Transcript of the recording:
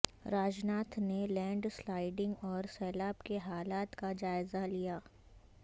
راج ناتھ نے land sliding اور سیلاب کے حالات کا جائزہ لیا